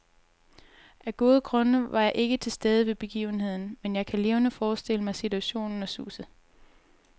Af gode grunde var jeg ikke til stede ved begivenheden, men jeg kan levende forestille mig situationen og suset.